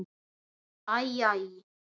Æ, æ.